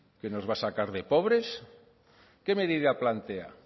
que nos va a sacar de pobres qué medida plantea